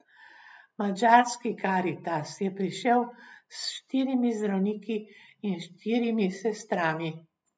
Madžarski Karitas je prišel s štirimi zdravniki in štirimi sestrami.